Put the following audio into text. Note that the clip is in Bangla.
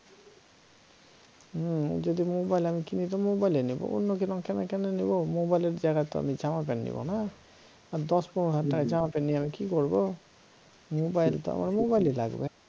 হম যদি মোবাইল আমি কিনি তো মোবাইলই নেব অন্য জিনিস আমি কেন নিব মোবাইলের জায়গায় তো আমি জামা প্যান্ট নিব না আর দশ পনেরো হাজার জামা প্যান্ট নিয়ে আমি কি করব মোবাইল টা আমার মোবাইলই লাগবে